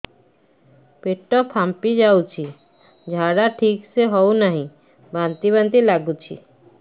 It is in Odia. ପେଟ ଫାମ୍ପି ଯାଉଛି ଝାଡା ଠିକ ସେ ହଉନାହିଁ ବାନ୍ତି ବାନ୍ତି ଲଗୁଛି